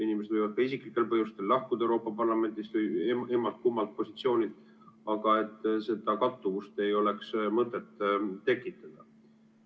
Inimesed võivad ka isiklikel põhjustel lahkuda Euroopa Parlamendist või emmalt-kummalt positsioonilt, aga seda kattuvust ei ole mõtet tekitada.